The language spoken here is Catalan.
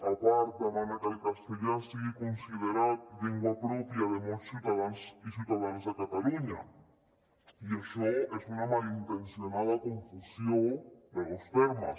a part demana que el castellà sigui considerat llengua pròpia de molts ciutadans i ciutadanes de catalunya i això és una malintencionada confusió de dos termes